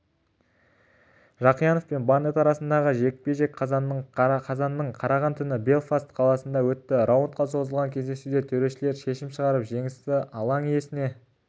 жақиянов пен барнетт арасындағы жекпе-жек қазанның қараған түні белфаст қаласында өтті раундқа созылған кездесуде төрешілер шешім шығарып жеңісті алаң иесіне берді